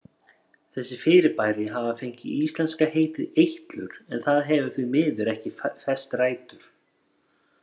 Þessi fyrirbæri hafa fengið íslenska heitið eitlur en það hefur því miður ekki fest rætur.